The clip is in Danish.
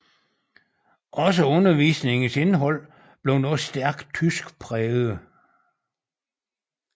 Også undervisningens indhold blev nu stærkt tyskpræget